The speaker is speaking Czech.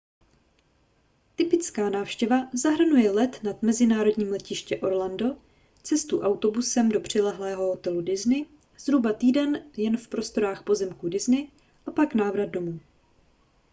typická návštěva zahrnuje let na mezinárodní letiště orlando cestu autobusem do přilehlého hotelu disney zhruba týden jen v prostorách pozemků disney a pak návrat domů